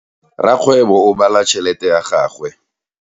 Rakgwebo o bala tšhelete ya gagwe.